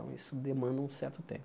Então, isso demanda um certo tempo.